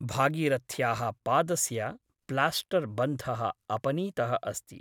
भागीरथ्याः पादस्य प्लास्टर्बन्धः अपनीतः अस्ति ।